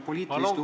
Palun küsimus!